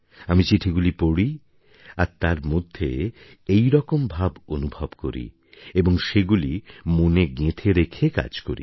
আমি চিঠিগুলি পড়ি আর তার মধ্যে এইরকম ভাব অনুভব করি এবং সেগুলি মনে গেঁথে রেখে কাজ করি